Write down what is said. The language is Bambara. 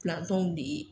Pilantɔw de